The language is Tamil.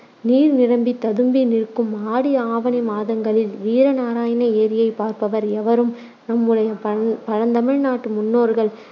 நீர் நிரம்பித் ததும்பி நிற்கும் ஆடி ஆவணி மாதங்களில் வீரநாராயண ஏரியைப் பார்ப்பவர் எவரும் நம்முடைய பழ்~ பழந்தமிழ் நாட்டு முன்னோர்கள்